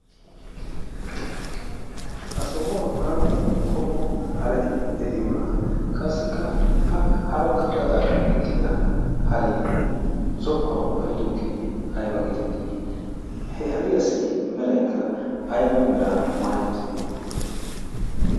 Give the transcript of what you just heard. ha sohuwan aappun qommo harati de7iyoonaaa? qassikka ha bagga gaxaara eqqida hariyee zokkuwan ba7idoogee aiba geetettii? he hariyaasi meraikka aiba mera maai uttidee?